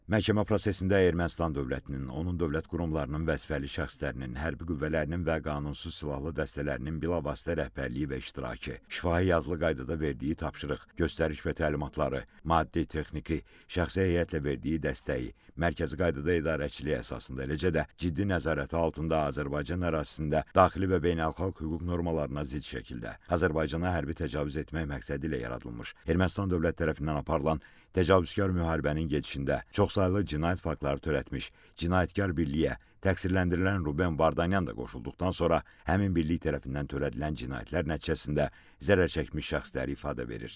Məhkəmə prosesində Ermənistan dövlətinin, onun dövlət qurumlarının, vəzifəli şəxslərinin, hərbi qüvvələrinin və qanunsuz silahlı dəstələrinin bilavasitə rəhbərliyi və iştirakı, şifahi, yazılı qaydada verdiyi tapşırıq, göstəriş və təlimatları, maddi-texniki, şəxsi heyətlə verdiyi dəstəyi mərkəzi qaydada idarəçiliyə əsasında, eləcə də ciddi nəzarəti altında Azərbaycan ərazisində daxili və beynəlxalq hüquq normalarına zidd şəkildə Azərbaycana hərbi təcavüz etmək məqsədilə yaradılmış Ermənistan dövlət tərəfindən aparılan təcavüzkar müharibənin gedişində çoxsaylı cinayət faktları törətmək, cinayətkar birliyə təqsirləndirilən Ruben Vardanyan da qoşulduqdan sonra həmin birlik tərəfindən törədilən cinayətlər nəticəsində zərər çəkmiş şəxslər ifadə verir.